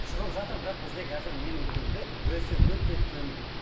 шығып жатыр бірақ бізде қазір менің білуімде үлесі өте төмен